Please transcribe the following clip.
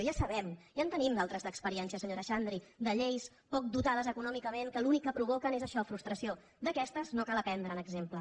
ja sabem ja en te·nim d’altres experiències senyora xandri de lleis poc dotades econòmicament que l’únic que provoquen és això frustració d’aquestes no cal prendre’n exemple